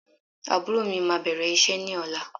Àbúrò mí máa bẹ̀rẹ̀ iṣẹ́ ní ọ̀la.